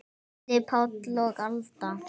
Gísli Páll og Alda.